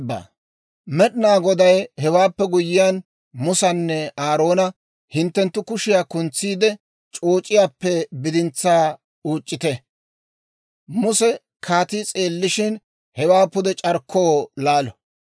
Meed'inaa Goday hewaappe guyyiyaan, Musanne Aaroona, «Hinttenttu kushiyaa kuntsiidde c'ooc'iyaappe bidintsaa uuc'c'ite; Muse kaatii s'eellishin, hewaa pude c'arkkoo laalo;